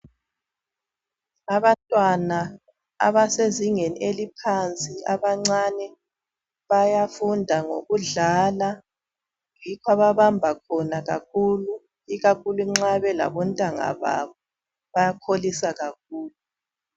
Abantwana abasezingeni eliphansi abancane bayafunda ngokudlala yikho ababamba khona kakhulu ikakhulu nxa belabontanga babo bayakholisa kakhulu.